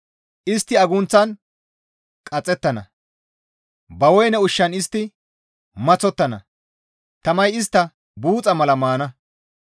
Istti agunththan qaxettana; ba woyne ushshan istti maththottana; tamay istta buuxa mala maana.